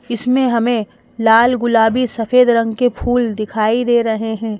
इसमें हमें लाल गुलाबी सफेद रंग के फूल दिखाई दे रहे हैं।